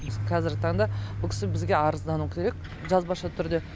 кәзіргі таңда бұл кісі бізге арыздануы керек жазбаша түрде